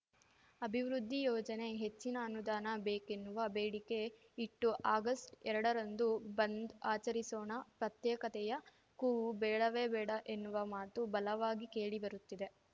ಅಭಿವೃದ್ಧಿ ಯೋಜನೆ ಹೆಚ್ಚಿನ ಅನುದಾನ ಬೇಕೆನ್ನುವ ಬೇಡಿಕೆ ಇಟ್ಟು ಆಗಸ್ಟ್ಎರಡ ರಂದು ಬಂದ್‌ ಆಚರಿಸೋಣ ಪ್ರತ್ಯೇಕತೆಯ ಕೂಗು ಬೇಡವೇ ಬೇಡ ಎನ್ನುವ ಮಾತು ಬಲವಾಗಿ ಕೇಳಿ ಬರುತ್ತಿದೆ